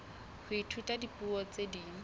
ho ithuta dipuo tse ding